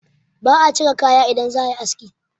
ba a cire kaya idan za a yi aski